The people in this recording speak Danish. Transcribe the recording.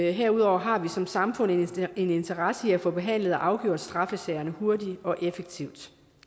og herudover har vi som samfund en interesse i at få behandlet og afgjort straffesagerne hurtigt og effektivt